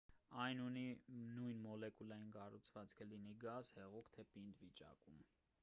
այն ունի նույն մոլեկուլային կառուցվածքը լինի գազ հեղուկ թե պինդ վիճակում